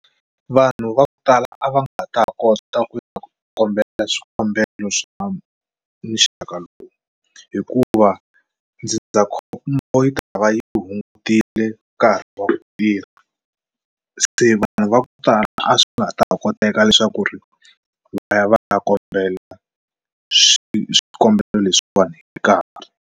Vanhu va ku tala a va nga ta kota ku ya ku kombela swikombelo swa muxaka lowu hikuva ndzindzakhombo yi tava yi hungutile nkarhi wa ku tirha se vanhu va ku tala a swi ta koteka leswaku ri va ya va ya kombela swikombelo leswiwani hi nkarhi.